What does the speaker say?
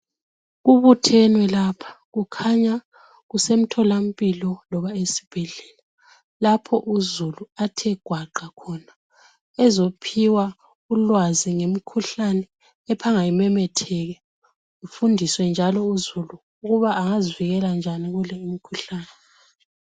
Kubuthenwe lapha kukhanya kusemtholampilo loba esibhedlela lapho uzulu athe gwaqa khona ezophiwa ulwazi ngemkhuhlane ephanga imemetheke kufundiswe njalo uzulu ukuba angazivikela njani kule imkhuhlane.